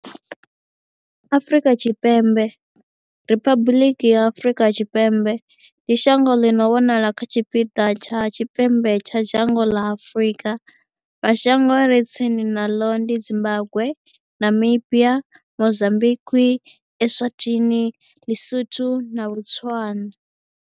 Afrika Tshipembe, Riphabuḽiki ya Afrika Tshipembe, ndi shango ḽi no wanala kha tshipiḓa tsha tshipembe tsha dzhango ḽa Afurika. Mashango a re tsini naḽo ndi Zimbagwe, Namibia, Mozambikwi, Eswatini, LeSotho na Botswana.